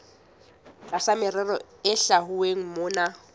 tlasa merero e hlwauweng mona